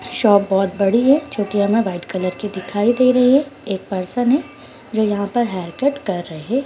Shop बहुत बड़ी है जोकि हमे वाइट कलर की दिखाई दे रही है। एक पर्सन है जो यहाँ पर हेयर कट कर रहे --